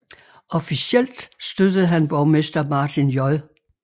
Officielt støttede han borgmester Martin J